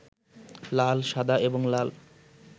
লাল, সাদা এবং লাল